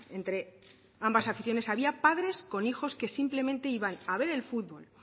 entre ambas aficiones había padres con hijos que simplemente iban a ver el futbol